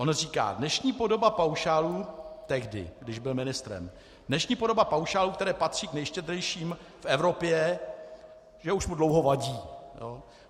On říká: Dnešní podoba paušálů - tehdy, když byl ministrem - dnešní podoba paušálů, které patří k nejštědřejším v Evropě, že už mu dlouho vadí.